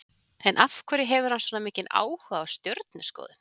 En af hverju hefur hann svona mikinn áhuga á stjörnuskoðun?